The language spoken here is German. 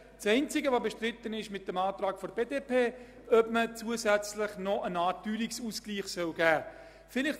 Das Einzige, was mit dem Antrag der BDP-Fraktion bestritten wird, ist die Frage, ob man zusätzlich noch eine Art Teuerungsausgleich gewähren will.